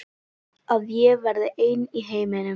Að ég verði ein í heiminum.